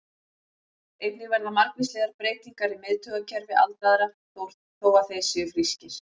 Einnig verða margvíslegar breytingar í miðtaugakerfi aldraðra, þó að þeir séu frískir.